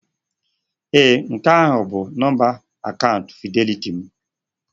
Ee nke ahụ bụ nọmba akaụntụ fịdelịtị m.